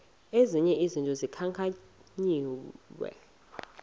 ezi zinto zikhankanyiweyo